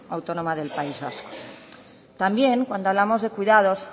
autónoma del país vasco también cuando hablamos de cuidados